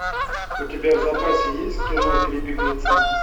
у тебя в запасе есть кино три беглеца